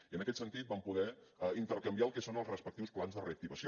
i en aquest sentit vam poder intercanviar el que són els respectius plans de reactivació